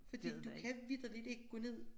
Fordi du kan vitterligt ikke gå ned